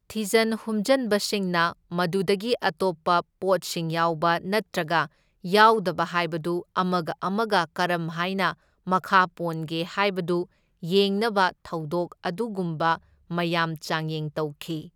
ꯊꯤꯖꯟ ꯍꯨꯝꯖꯟꯕꯁꯤꯡꯅ ꯃꯗꯨꯗꯒꯤ ꯑꯇꯣꯞꯄ ꯄꯣꯠꯁꯤꯡ ꯌꯥꯎꯕ ꯅꯠꯇ꯭ꯔꯒ ꯌꯥꯎꯗꯕ ꯍꯥꯏꯕꯗꯨ ꯑꯃꯒ ꯑꯃꯒ ꯀꯔꯝꯍꯥꯏꯅ ꯃꯈꯥ ꯄꯣꯟꯒꯦ ꯍꯥꯏꯕꯗꯨ ꯌꯦꯡꯅꯕ ꯊꯧꯗꯣꯛ ꯑꯗꯨꯒꯨꯝꯕ ꯃꯌꯥꯝ ꯆꯥꯡꯌꯦꯡ ꯇꯧꯈꯤ꯫